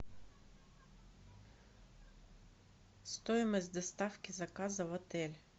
стоимость доставки заказа в отель